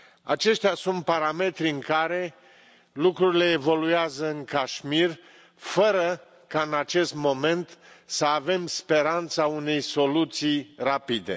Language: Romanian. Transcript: Aceștia sunt parametrii în care lucrurile evoluează în Cașmir, fără ca în acest moment să avem speranța unei soluții rapide.